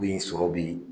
Bin sɔrɔ bi